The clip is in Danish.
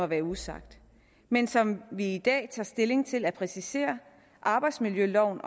være usagt men som vi i dag tager stilling til at præcisere arbejdsmiljøloven